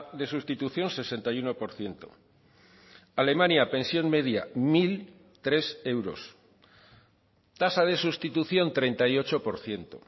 de sustitución sesenta y uno por ciento alemania pensión media mil tres euros tasa de sustitución treinta y ocho por ciento